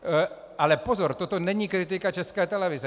Ale pozor, toto není kritika České televize.